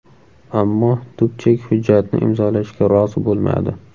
Ammo Dubchek hujjatni imzolashga rozi bo‘lmadi.